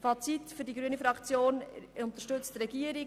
Fazit: Die grüne Fraktion unterstützt die Regierung.